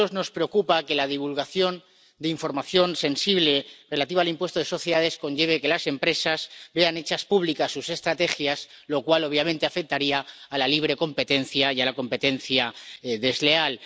A nosotros nos preocupa que la divulgación de información sensible relativa al impuesto de sociedades conlleve que las empresas vean hechas públicas sus estrategias, lo cual, obviamente, afectaría a la libre competencia y a la competencia desleal.